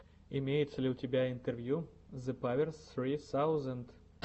имеется ли у тебя интервью зепаверс ссри саузенд